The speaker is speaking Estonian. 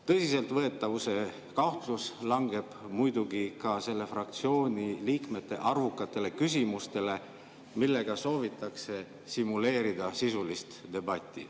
Tõsiseltvõetavuse kahtlus langeb muidugi ka selle fraktsiooni liikmete arvukatele küsimustele, millega soovitakse simuleerida sisulist debatti.